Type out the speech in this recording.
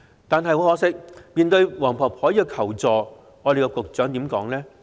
但很可惜，面對黃婆婆的求助，局長說了些甚麼呢？